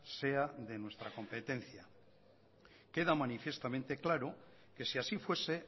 sea de nuestra competencia queda manifiestamente claro que si así fuese